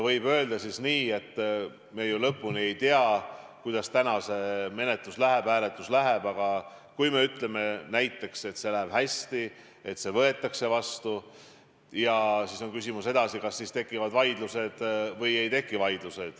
Võib öelda nii, et ega me ju ei tea, kuidas täna see hääletus läheb, aga kui see läheb hästi ja seadus võetakse vastu, siis on küsimus, kas pärast seda tekivad vaidlused või neid ei teki.